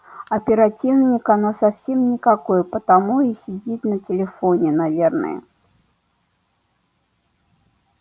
оперативник она совсем никакой потому и сидит на телефоне наверное